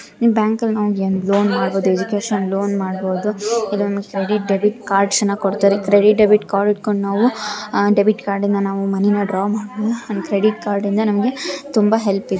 ನೀವು ಬ್ಯಾಂಕ ಅಲ್ಲಿ ಲೋನ್ ಮಾಡಬಹುದು ಎಜುಕೇಶನ್ ಲೋನ್ ಮಾಡಬಹುದು. ಇದೊಂದ್ ಕ್ರೆಡಿಟ್ ಡೆಬಿಟ್ ಕಾರ್ಡ್ ಅನ್ನು ಕೊಡ್ತಾರೆ. ಕ್ರೆಡಿಟ್ ಡೆಬಿಟ್ ಕಾರ್ಡ್ ಇಟ್ಕೊಂಡು ನಾವು ಅಹ್ ಡೆಬಿಟ್ ಕಾರ್ಡ್ ಇಂದ ನಾವು ಮನಿ ಡ್ರಾ ಮಾಡಬಹುದು. ಕ್ರೆಡಿಟ್ ಕಾರ್ಡ್ ಇಂದ ನಮಗೆ ತುಂಬಾ ಹೆಲ್ಪ್ ಇದೆ .